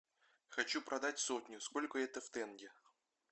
хочу продать сотню сколько это в тенге